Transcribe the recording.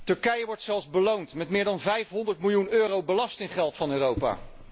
Turkije wordt zelfs beloond met meer dan 500 miljoen euro belastinggeld van Europa.